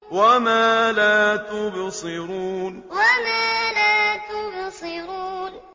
وَمَا لَا تُبْصِرُونَ وَمَا لَا تُبْصِرُونَ